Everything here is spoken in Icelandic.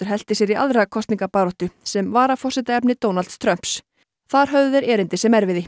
hellti sér í aðra kosningabaráttu sem varaforsetaefni Donalds Trumps þar höfðu þeir erindi sem erfiði